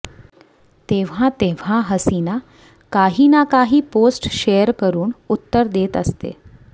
तेव्हा तेव्हा हसीना काही ना काही पोस्ट शेअर करून उत्तर देत असते